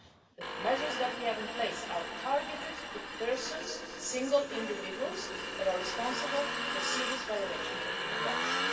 The measures that we have in place are targeted against persons single individuals that are responsible for serious violations of human rights.